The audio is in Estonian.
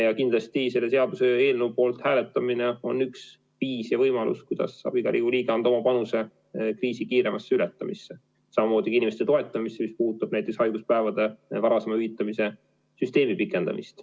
Ja kindlasti selle seaduseelnõu poolt hääletamine on üks võimalus, kuidas saab iga Riigikogu liige anda oma panuse kriisi kiiremasse ületamisse, samamoodi inimeste toetamisse, mis puudutab näiteks haiguspäevade varasema hüvitamise süsteemi pikendamist.